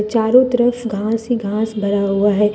चारों तरफ घास ही घास भरा हुआ है ।